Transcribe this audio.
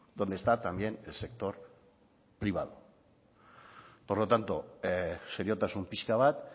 donde está también el sector privado por lo tanto seriotasun pixka bat